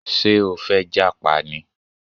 Ṣé o fẹ́ jápa ni?